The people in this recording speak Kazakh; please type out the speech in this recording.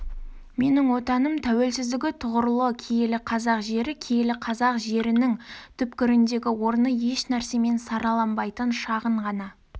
менің отаным тәуелсіздігі тұғырлы киелі қазақ жері киелі қазақ жерінің түпкіріндегі орны ешнәрсемен сараланбайтын шағын ғана